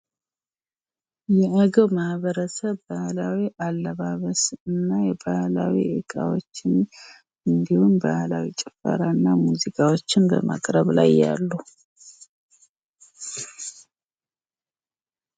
የአገው ማህበረሰብ ባህላዊ አለባበስ እና ባህላዊ እቃዎችን እንድሁም ባህላዊ ጭፈራና ሙዚቃዎችን በማቅረብ ላይ ያሉ።